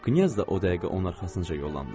Knyaz da o dəqiqə onun arxasınca yollandı.